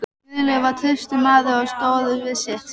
Guðlaugur var traustur maður og stóð við sitt.